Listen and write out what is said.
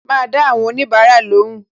Ma dá àwọn onibara lóhùn